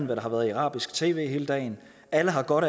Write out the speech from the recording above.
der har været i arabisk tv hele dagen alle har godt